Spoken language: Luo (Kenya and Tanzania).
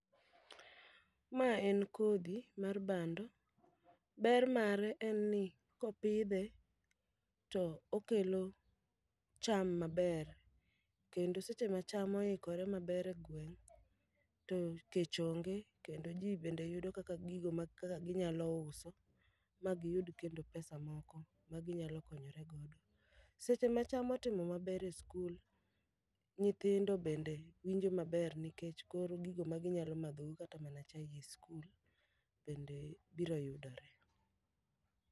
Ma en kodhi mar bando, ber mare en ni kopidhe to okelo cham maber. Kendo seche ma cham oikore maber e gweng' to kech onge. Kendo ji bende yudo kaka gigo ma kaka ginyalo uso ma giyud kendo pesa moko ma ginyalo konyore godo. Seche ma cham otimo maber e skul, nyithindo bende winjo maber nikech kor gigo ma ginyalo madhogo kata mana chae e skul, bende biro yudore.